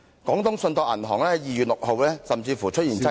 廣東信託銀行在該年2月6日甚至出現擠提......